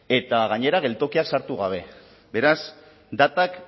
eta gainera geltokiak sartu gabe beraz datak